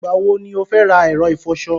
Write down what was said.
Ìgbà wọ ni o fẹ́ ra ẹ̀rọ ìfọṣọ?